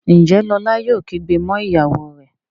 Njé Lola yóò kígbe mọ ìyàwó rẹ?